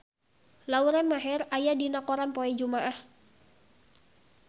Lauren Maher aya dina koran poe Jumaah